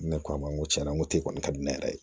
Ne k'a ma n ko tiɲɛna n ko kɔni ka di ne yɛrɛ ye